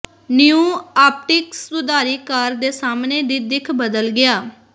ਨ੍ਯੂ optics ਸੁਧਾਰੀ car ਦੇ ਸਾਹਮਣੇ ਦੀ ਦਿੱਖ ਬਦਲ ਗਿਆ